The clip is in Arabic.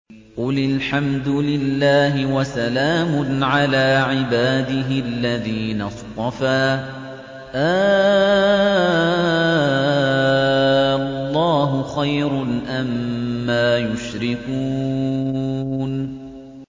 قُلِ الْحَمْدُ لِلَّهِ وَسَلَامٌ عَلَىٰ عِبَادِهِ الَّذِينَ اصْطَفَىٰ ۗ آللَّهُ خَيْرٌ أَمَّا يُشْرِكُونَ